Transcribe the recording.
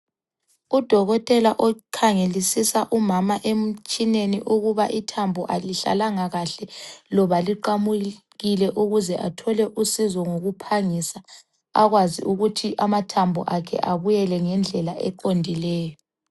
Udokotela okhangelisisa umama emtshineni ukuba ithambo alihlalanga kahle loba liqamukile ukuze athole usizo ngokuphangisa akwazi ukuthi amathambo akhe abuyele ngendlela eqondileyo.